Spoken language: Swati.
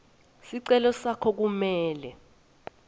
sicelo sakho kumele